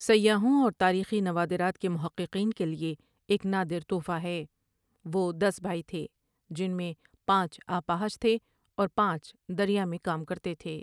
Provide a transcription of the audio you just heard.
سیّاحوں اور تاریخی نوادرات کے محّۡقین کے لیے ایک نادر تحفہ ہے وہ دس بھائی تھے جن میں پانچ اپاہج تھے اور پانچ دریا میں کام کرتے تھے ۔